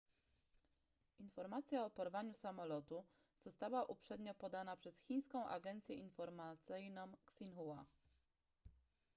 informacja o porwaniu samolotu została uprzednio podana przez chińską agencję informacyjną xinhua